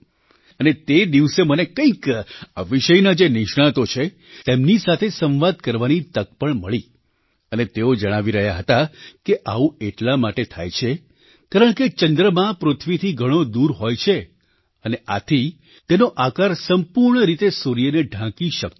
અને તે દિવસે મને કંઈક આ વિષયના જે નિષ્ણાતો છે તેમની સાથે સંવાદ કરવાની તક પણ મળી અને તેઓ જણાવી રહ્યા હતા કે આવું એટલા માટે થાય છે કારણકે ચંદ્રમા પૃથ્વીથી ઘણો દૂર હોય છે અને આથી તેનો આકાર સંપૂર્ણ રીતે સૂર્યને ઢાંકી શકતો નથી